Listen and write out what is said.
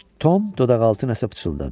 Tom dodaqaltı nəsə pıçıldadı.